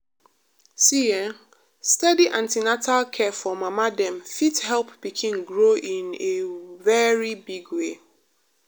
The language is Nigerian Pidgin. see[um]steady an ten atal care for mama dem fit help pikin grow in a very big way.